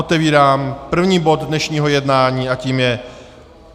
Otevírám první bod dnešního jednání a tím je